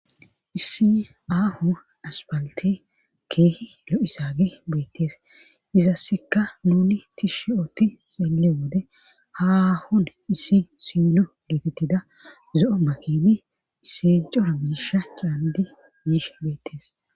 issi ahu aspaliti keehi lo7isagi beettees izassekka nuni tishshe ooti xeelle wode hahun issi sino letetida zo7o ma kini isi cora miisha caandi biisha beettees